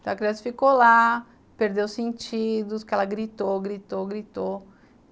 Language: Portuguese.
Então a criança ficou lá, perdeu os sentidos, que ela gritou, gritou, gritou.